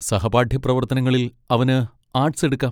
സഹപാഠ്യ പ്രവർത്തനങ്ങളിൽ അവന് ആർട്സ് എടുക്കാം.